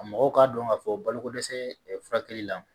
Mɔgɔw k'a dɔn k'a fɔ balokodɛsɛ furakɛli la